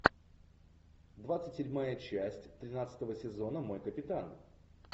двадцать седьмая часть тринадцатого сезона мой капитан